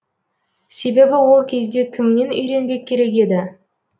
себебі ол кезде кімнен үйренбек керек еді